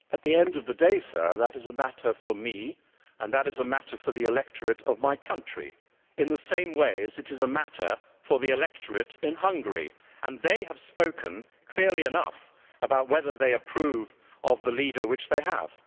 At the end of the day, Sir, that is a matter for me and that is a matter for the electorate of my country, in the same way as it is a matter for the electorate in Hungary, and they have spoken clearly enough about whether they approve of the leader they have.